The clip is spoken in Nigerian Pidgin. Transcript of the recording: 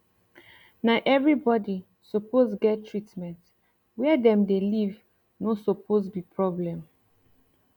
na everi bodi suppose get treatment were dem dey leave no suppose be problem